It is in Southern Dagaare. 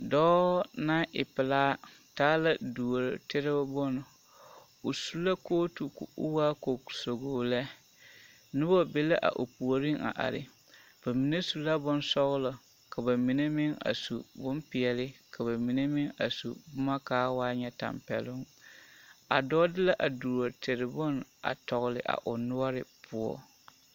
Dɔɔ naŋ e pelaa taa la duotere bone o su la kooti ka o waa kootugi lɛ noba be la o puoriŋ a are bamine su la bonsɔglɔ ka bamine meŋ su bompeɛle ka bamine meŋbsu boma ka a waa ŋa tampɛloŋ a dɔɔ de la a duotere bone a tɔgle o noɔre poɔ.